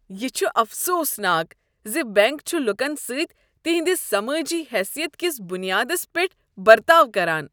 یہ چھ افسوس ناک ز بینک چھ لوکن سۭتۍ تہنٛدِس سمٲجی حیثیت کس بنیادس پیٹھ برتاؤ کران۔